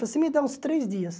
Você me dá uns três dias.